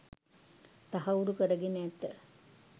තහවුරු කරගෙන ඇත